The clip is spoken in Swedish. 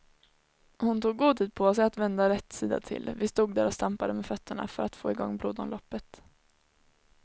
Hon tog god tid på sig att vända rätt sida till, vi stod där och stampade med fötterna för att få igång blodomloppet.